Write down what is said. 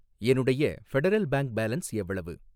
என்னுடைய federal bank balance எவ்வளவு?